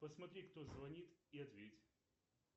посмотри кто звонит и ответь